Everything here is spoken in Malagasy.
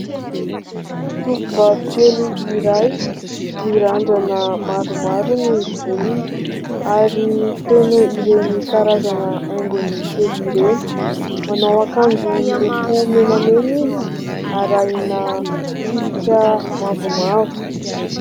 Tovovavy kely iray, mirandrana maromaro ny volony ary feno ireny karazana haingony kely ireny. Manao ankanjo miloko menamena izy arahina tsipika mavomavo.